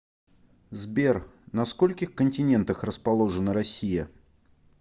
сбер на скольких континентах расположена россия